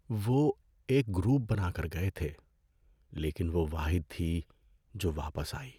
وہ ایک گروپ بنا کر گئے تھے لیکن وہ واحد تھی جو واپس آئی۔